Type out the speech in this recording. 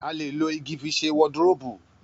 A lè lo igi fi sẹ wọdiróópù.